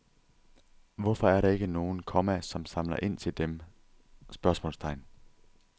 Hvorfor er der ikke nogen, komma som samler ind til dem? spørgsmålstegn